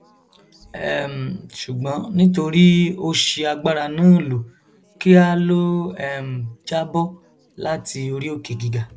um ṣùgbọn nítorí ó ṣi agbára náà lò kíá ló um já bọ láti orí òkè gíga